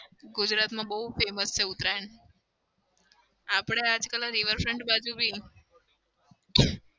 ગુજરાતમાં બઉ famous છે ઉતરાયણ. આપડે આજકાલ river front બાજુ બી